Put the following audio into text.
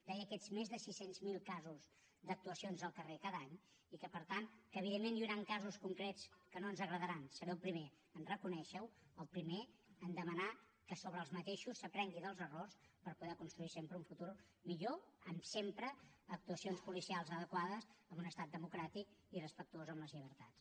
deia aquests més de sis cents miler casos d’actuacions al carrer cada any i que per tant que evidentment que hi haurà casos concrets que no ens agradaran seré el primer de reconèixer ho el primer a demanar que sobre aquests s’aprengui dels errors per poder construir sempre un futur millor amb sempre actuacions policials adequades a un estat democràtic i respectuós amb les llibertats